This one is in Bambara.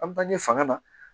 An bange fanga na